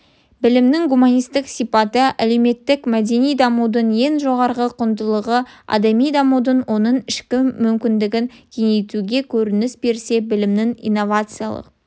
білімнің гуманистік сипаты әлеуметтік-мәдени дамудың ең жоғарғы құндылығы адами дамуды оның ішкі мүмкіндігін кеңейтуде көрініс берсе білімнің инновациялық